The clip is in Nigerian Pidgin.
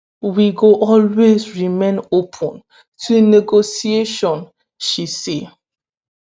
"we go always remain open to negotiation" she say.